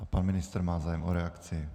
A pan ministr má zájem o reakci?